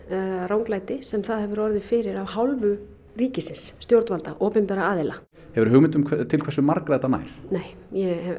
ranglæti sem það hefur orðið fyrir af hálfu ríkisins stjórnvalda opinberra aðila hefurðu hugmynd um til hversu margra þetta nær nei ég hef